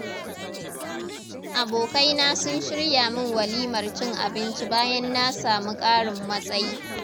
Abokaina sun shirya min walimar cin abinci bayan na samu ƙarin matsayi.